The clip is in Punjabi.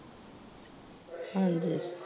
ਹਾਂਜੀ।